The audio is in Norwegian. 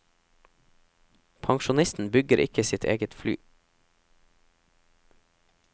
Pensjonisten bygger ikke sitt eget fly.